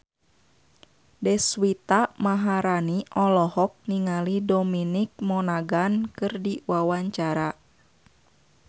Deswita Maharani olohok ningali Dominic Monaghan keur diwawancara